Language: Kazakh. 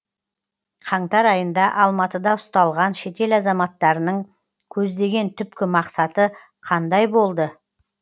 қаңтар айында алматыда ұсталған шетел азаматтарының көздеген түпкі мақсаты қандай болды